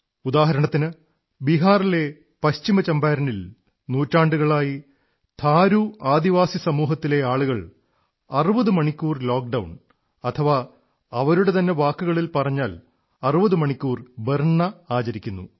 ഉദാഹരണത്തിന് ബിഹാറിലെ പശ്ചിമ ചമ്പാരനിൽ നൂറ്റാണ്ടുകളായി ഥാരു ആദിവാസി സമൂഹത്തിലെ ആളുകൾ 60 മണിക്കൂർ ലോക്ഡൌൺ അഥവാ അവരുടെതന്നെ വാക്കുകളിൽ പറഞ്ഞാൽ 60 മണിക്കൂർ ബർന ആചരിക്കുന്നു